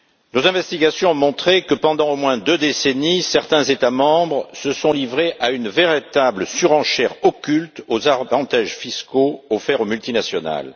Nos investigations ont montré que pendant au moins deux décennies, certains États membres se sont livrés à une véritable surenchère occulte aux avantages fiscaux offerts aux multinationales.